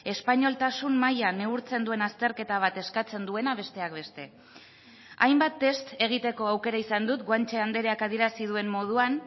espainoltasun maila neurtzen duen azterketa bat eskatzen duena besteak beste hainbat test egiteko aukera izan dut guanche andreak adierazi duen moduan